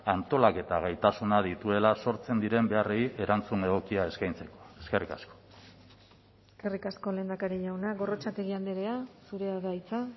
antolaketa gaitasuna dituela sortzen diren beharrei erantzun egokia eskaintzeko eskerrik asko eskerrik asko lehendakari jauna gorrotxategi andrea zurea da hitza